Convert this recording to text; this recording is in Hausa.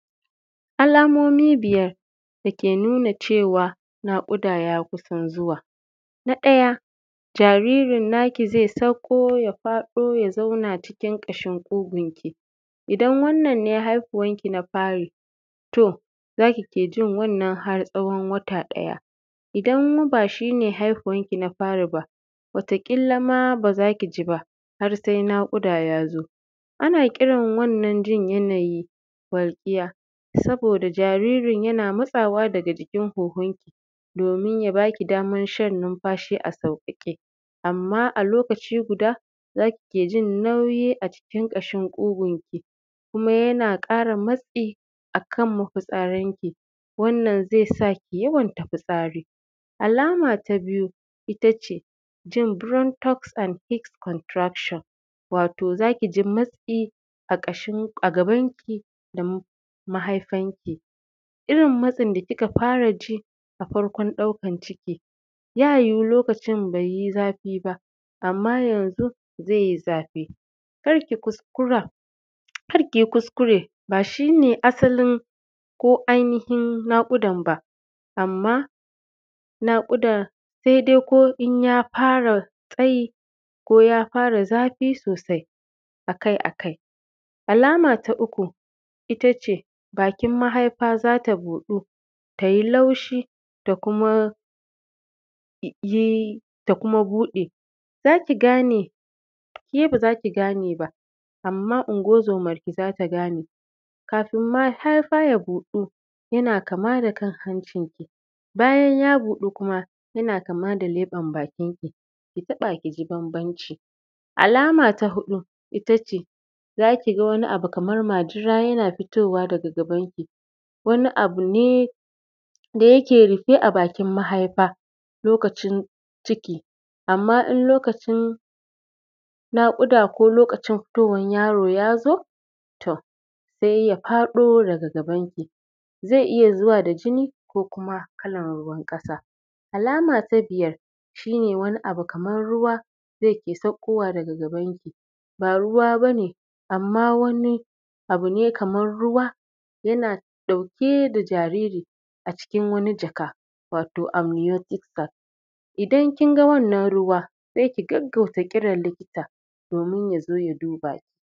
Alamomi biyar dake nuna cewa naƙuda ya kusan zuwa, na ɗaya jaririn naki zai sauko ya faɗo ya zauna cikin ƙashin ƙugunki idan wannan ne haihuwanki na fari to za kike jin har tsawon wata ɗaya. Idan kuma bashine haihuwan kin a fari ba wata ƙila ma ba za ki jiba har sai naƙudan ya zo ana kiran wannan yanayi walƙiya saboda jaririnki yana matsawa daga huhun ki domin ya ba ki daman shan numfashi a sauƙaƙe, amma a lokaci guda za ki iya jin nauyi a cikin ƙashin ƙugunki kuma yana ƙara matsi akan mafitsaranki wannan zai sa ki yawaita fitsari. Alama ta biyu ita ce jin barantos and fixed contraction wato za ki ji matsi a gaban ki da mahaifanki irin matsin da kika fara ji a farkon ɗaukan ciki ya yiwu lokacin bai yi za fi ba amma yanzu zai yi zafi kar ki kuskure ba shi ne asalin ko ainihin naƙudan ba. Amma naƙudar sai dai ko in ya fara tsayi ko ya fara zafi sosai akai-akai, alama ta uku ita ce bakin mahaifa za ta buɗu ta yi laushi da kuma buɗe za ki gane ke ba za ki gane ba amma unguwar zomanki za ta gane kafin mahaifa ya buɗu, yana kama da kan hancinki bayan ya buɗu kuma yana kama da leban bakinki, ki taɓa ki ji bambanci. Alama ta huɗu ita ce za ki ga wani abu kaman majina yana fitowa daga gabanki wani abu ne da yake rufe a bakin mahaifa lokacin ciki amma in lokacin naƙuda ko lokacin haihuwan yaro tom sai ya faɗo daga gabanki, zai iya zuwa da jini ko kuma kalan ruwan ƙasa. Alama ta biyar shi ne wani abu kamar ruwa da yake sakowa daga gabanki ba ruwa ba ne amma wani abu ne kamar ruwa yana ɗauke da jariri a cikin wani jaka wato amiyosiksa, idan kin ga wannan ruwa sai ki gagauta jiran likita domin ya duba ki.